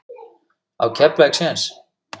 Á Keflavík séns?